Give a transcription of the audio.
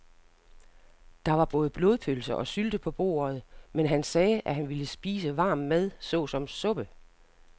Der var både blodpølse og sylte på bordet, men han sagde, at han bare ville spise varm mad såsom suppe.